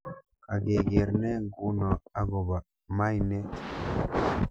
Kagegeer ne nguno agoba mainet